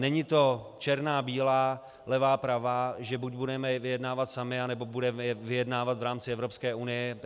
Není to černá - bílá, levá - pravá, že buď budeme vyjednávat sami, anebo budeme vyjednávat v rámci Evropské unie.